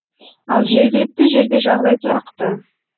ал жергілікті жерде жағдай тұрақты